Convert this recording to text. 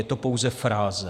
Je to pouze fráze.